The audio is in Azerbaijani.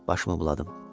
Başımı buladım.